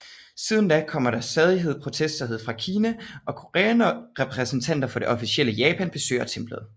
Siden da kommer der til stadighed protester fra især Kina og Korea når repræsentanter for det officielle Japan besøger templet